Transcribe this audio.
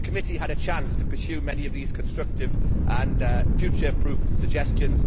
The committee had a chance to pursue many of these constructive and future proof suggestions